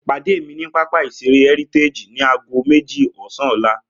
Pàdé mi ní pápá ìṣeré Heritage ni aago méjì ọ̀sán ọ́la!